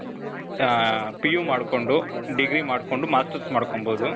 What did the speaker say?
ಆ, PU ಮಾಡ್ಕೊಂಡು, degree ಮಾಡ್ಕೊಂಡು, masters ಮಾಡ್ಕೋಬಹುದು.